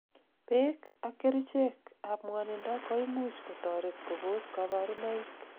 beek ak kerichek ab ngwonindo koimuch kotoret kobos kaborunoik